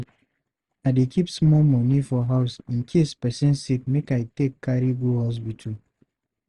I dey keep small money for house in case pesin sick make I take carry go hospital.